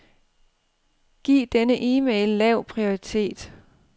Giv denne e-mail lav prioritet.